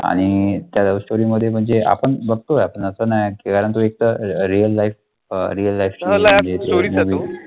आणि त्या love story मध्ये म्हणजे आपण बघतो असं नाही कारण तो एक तर real life अं real life story